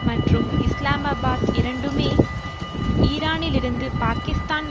மற்றும் இஸ்லாமாபாத் இரண்டுமே ஈரானிலிருந்து பாக்கிஸ்தான்